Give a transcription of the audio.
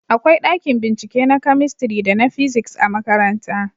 akwai ɗakin bincike na kamistiri da na fisiks a makaranta